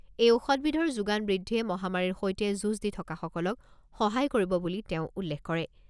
এই ঔষধ বিধৰ যোগান বৃদ্ধিয়ে মহামাৰীৰ সৈতে যুঁজ দি থকাসকলক সহায় কৰিব বুলি তেওঁ উল্লেখ কৰে।